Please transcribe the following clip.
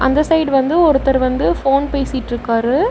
அந்த சைடு வந்து ஒருத்தர் வந்து ஃபோன் பேசிட்ருக்காரு.